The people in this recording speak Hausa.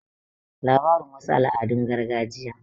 labarin wasu al'adun gargajiya